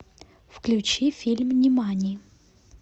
включи фильм нимани